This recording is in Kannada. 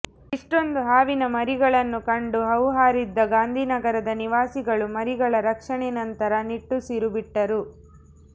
ಇಷ್ಟೊಂದು ಹಾವಿನ ಮರಿಗಳನ್ನು ಕಂಡು ಹೌಹಾರಿದ್ದ ಗಾಂಧಿನಗರದ ನಿವಾಸಿಗಳು ಮರಿಗಳ ರಕ್ಷಣೆ ನಂತರ ನಿಟ್ಟುಸಿರು ಬಿಟ್ಟರು